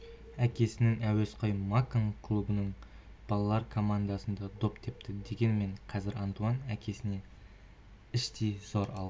әкесінің әуесқой макон клубының балалар командасында доп тепті дегенмен қазір антуан әкесіне іштей зор алғыс